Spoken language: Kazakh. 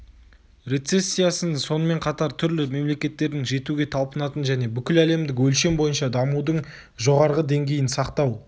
рецессиясын сонымен қатар түрлі мемлекеттердің жетуге талпынатын және бүкіләлемдік өлшем бойынша дамудың жоғарғы деңгейін сақтау